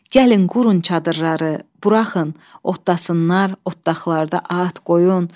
Gəlin qurun çadırları, buraxın, otdasınlar, otdağlarda at, qoyun.